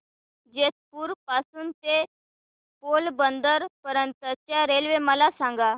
जेतपुर पासून ते पोरबंदर पर्यंत च्या रेल्वे मला सांगा